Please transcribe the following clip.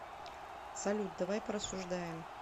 салют давай порассуждаем